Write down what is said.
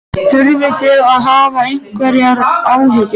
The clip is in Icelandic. Þurfið þið að hafa einhverjar áhyggjur?